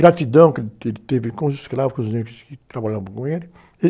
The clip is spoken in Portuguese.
Gratidão que ele teve com os escravos, com os negros que trabalhavam com ele.